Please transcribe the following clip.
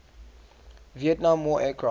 vietnam war aircraft